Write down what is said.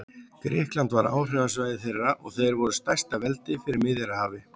Grikkland varð áhrifasvæði þeirra og þeir voru stærsta veldi fyrir Miðjarðarhafi.